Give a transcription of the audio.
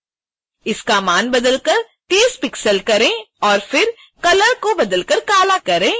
इसका मान बदलकर 30 पिक्सेल करें और फिर colour को बदलकर काला करें